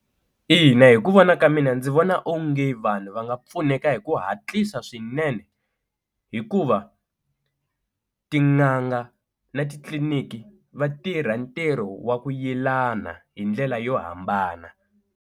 Ina hi ku vona ka mina ndzi vona onge vanhu va nga pfuneka hi ku hatlisa swinene hikuva tin'anga na titliliniki va tirha ntirho wa ku yelana hi ndlela yo hambana.